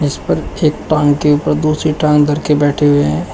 इस पर एक टांग के ऊपर दूसरी टांग धर के बैठे हुए हैं।